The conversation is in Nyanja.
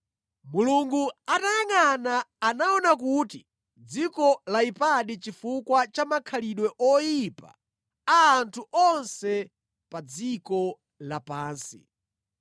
Mulungu atayangʼana, anaona kuti dziko layipadi chifukwa cha makhalidwe oyipa a anthu onse pa dziko lapansi.